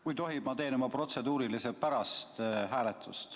Kui tohib, ma teen oma protseduurilise pärast hääletust.